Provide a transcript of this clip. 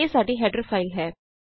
ਇਹ ਸਾਡੀ header file ਹੈ